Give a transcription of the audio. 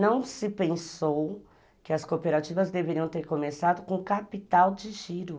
Não se pensou que as cooperativas deveriam ter começado com capital de giro.